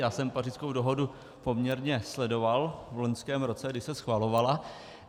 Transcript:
Já jsem Pařížskou dohodu poměrně sledoval v loňském roce, když se schvalovala.